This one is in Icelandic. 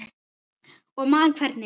Og man hvernig